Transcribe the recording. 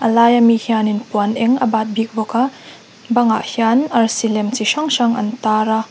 a laia mi hianin puan eng a bat bik bawk a bangah hian arsi lem chi hrang hrang an tar a.